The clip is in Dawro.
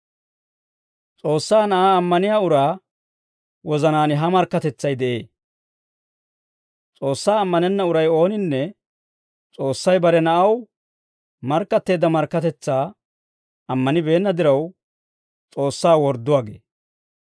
S'oossaa Na'aa ammaniyaa uraa wozanaan ha markkatetsay de'ee. S'oossaa ammanenna uray ooninne S'oossay bare Na'aw markkatteedda markkatetsaa ammanibeenna diraw, S'oossaa wordduwaa gee.